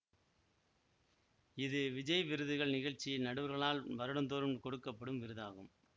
இது விஜய் விருதுகள் நிகழ்ச்சியில் நடுவர்களால் வருடந்தோறும் கொடுக்க படும் விருதாகும்